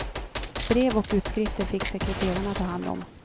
Brev och utskrifter fick sekreterarna ta hand om.